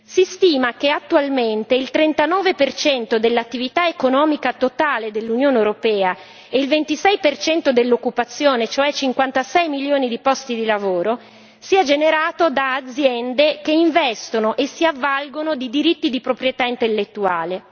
Si stima che attualmente il 39 dell'attività economica totale dell'Unione europea e il 26 dell'occupazione, cioè 56 milioni di posti di lavoro, sia generato da aziende che investono e si avvalgono di diritti di proprietà intellettuale.